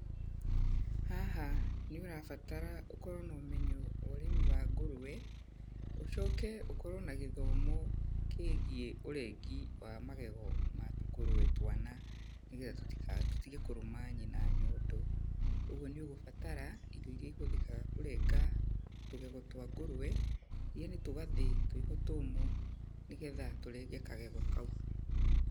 Haha nĩ ũrabatara ũkorwo na ũmenyo wa ũrĩmi wa ngũrũwe, ũcoke ũkorwo na gĩthomo kĩgiĩ ũrengi wa magego ma tũkũrũwe twana, nĩgetha tũtige kũrũma nyina nyondo. Ũguo nĩ ũgũbatara, indo irĩa ihũthĩkaga kũrenga tũgego twa ngũrũwe, yaani tũgathi twĩho tũmũ, nĩgetha tũrenge kagego kau.